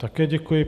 Také děkuji.